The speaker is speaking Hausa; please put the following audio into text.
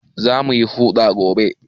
Za mu yi huɗa gobe